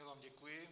Já vám děkuji.